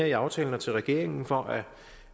i aftalen og til regeringen for